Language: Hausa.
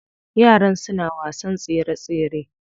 Yaran suna wasan tsere tsere.